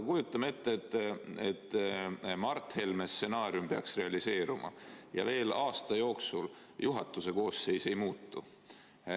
Kujutame ette, et Mart Helme stsenaarium peaks realiseeruma ja veel aasta jooksul juhatuse koosseis ei muutu.